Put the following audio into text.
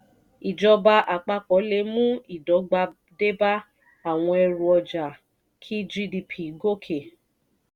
ìjọba àpapọ̀ le mú ìdọ́gba dé bá àwọn ẹrù ọjà kí gdp gòkè.